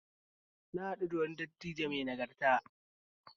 Na haɗu da wani dattijo mai nagarta